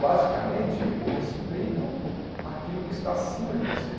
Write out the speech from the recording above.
basicamente o respeito àquilo que está acima de você.